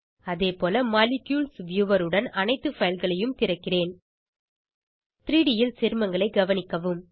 அதேபோல molecules viewer உடன் அனைத்து fileகளையும் திறக்கிறேன் 3ட் ல் சேர்மங்களை கவனிக்கவும்